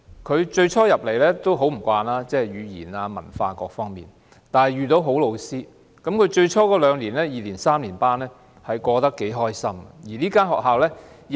他最初很不習慣，例如語言、文化等各方面，但他遇到好老師，最初二、三年級過得頗愉快。